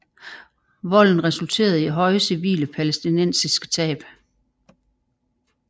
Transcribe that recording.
Volden resulterede i høje civile palæstinensiske tab